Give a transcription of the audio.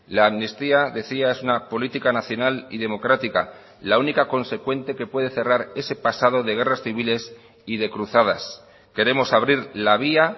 la amnistía decía es una política nacional y democrática la única consecuente que puede cerrar ese pasado de guerras civiles y de cruzadas queremos abrir la vía